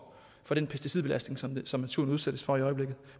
den pesticidbelastning som som naturen udsættes for i øjeblikket